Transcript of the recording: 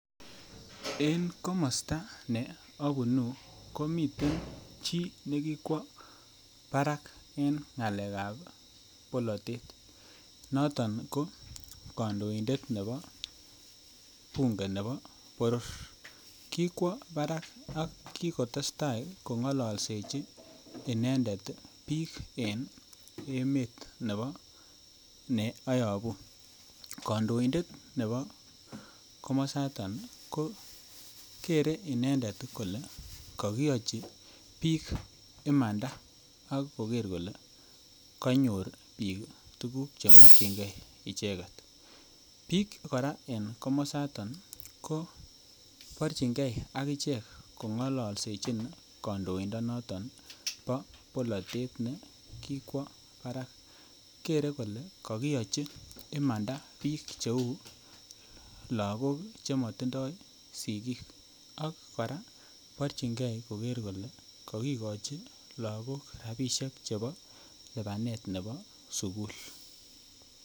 Eng komosta nea punu komiten chii nekikwo barak eng ng'alek ap polotet noton ko kandoindet nepo bunge nepo boror kikwo barak ak kikotestai kongololsechi inendet piik eng' emet nepo neayopu kandoindet nepo komosata ko kere inendet kole kakiyachi piik imanda akoker kole konyor piik tukuk chemakchinigei icheket piik kora eng' komosatan koporchingei akichek kongololsechin kandoindonoton po polotet nekikwo barak kere kole kakiyochi imanda piik cheu lakok chematindoi sikiik ak kora porchinkei koro kole kakikochi lakok rapishe chepo lipanet nepo sukul